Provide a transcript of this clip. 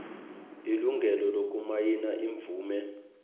ilungelo lokumayina imvume